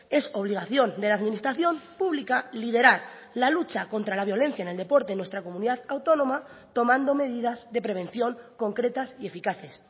es obligación de la administración pública liderar la lucha contra la violencia en el deporte en nuestra comunidad autónoma tomando medidas de prevención concretas y eficaces